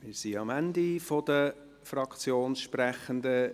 Wir sind am Ende der Fraktionssprechenden.